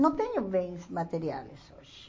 Não tenho bens materiais hoje.